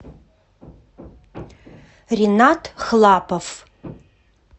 ринат хлапов